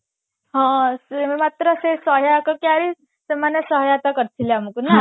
ହଁ ସେମାନେ ସହାୟତା କରିଥଗିଲେ ଆମକୁ ନା